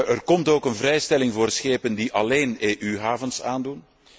Er komt ook een vrijstelling voor schepen die alleen EU havens aandoen.